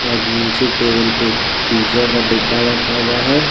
और नीचे टेबल पे एक पिज्जा का डिब्बा रखा हुआ है।